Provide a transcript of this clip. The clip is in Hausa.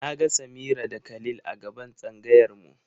Na ga Samira da Khalil a gaban tsangayar mu.